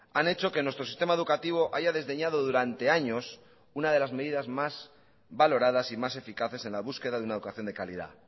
han hecho que nuestro sistema educativo haya desdeñado durante años una de las medidas más valoradas y más eficaces en la búsqueda de una educación de calidad